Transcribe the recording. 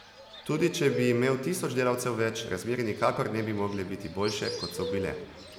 Tudi če bi imel tisoč delavcev več, razmere nikakor ne bi mogle biti boljše, kot so bile.